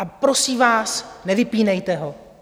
A prosím vás, nevypínejte ho.